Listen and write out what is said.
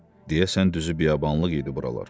Deyəsən düzü biyabanlıq idi buralar.